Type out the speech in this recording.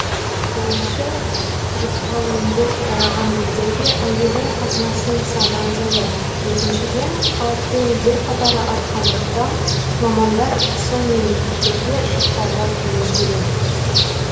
бірінші жұқпалы індет тараған елдерге әуежай қатынасының саны азаяды екіншіден қауіпті елдер қатары артқандықтан мамандар сол мемлекеттерге шықпауға кеңес береді